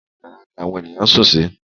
Inú yàrá ni àwọn èèyàn sùn sí.